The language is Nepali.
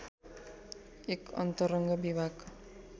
एक अन्तरङ्ग विभाग